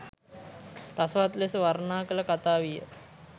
රසවත් ලෙස වර්ණනා කළ කතාවිය.